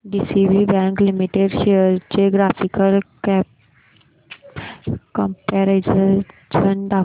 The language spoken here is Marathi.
डीसीबी बँक लिमिटेड शेअर्स चे ग्राफिकल कंपॅरिझन दाखव